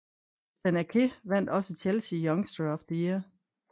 Nathan Aké vandt også Chelsea youngster of the year